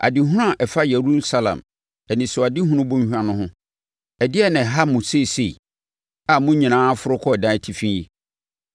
Adehunu a ɛfa Yerusalem, Anisoadehunu Bɔnhwa no ho: Ɛdeɛn na ɛha mo seesei, a mo nyinaa aforo kɔ adan atifi yi,